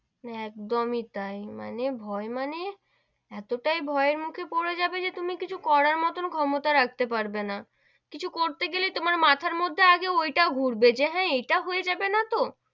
একদমই তাই, মানে ভয় মানে এতটাই ভয়ের মুখে পড়ে যাবে যে তুমি কিছু করার মতো ক্ষমতা রাখতে পারবে না, কিছু করতে গেলে তোমার মাথার মধ্যে আগে ঐটা ঘুরবে যে হেঁ, এইটা হয়ে যাবে না তো,